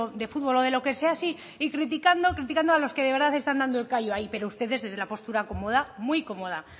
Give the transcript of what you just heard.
de fútbol o de lo que sea sí y criticando a los que de verdad están dando el callo ahí pero ustedes desde la postura cómoda muy cómoda